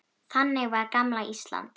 Þannig var gamla Ísland.